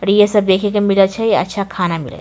तब ये सब देखे के मिले छै अच्छा खाना मिले --